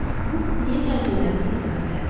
Buk niyə gəldiklərini izah elədi.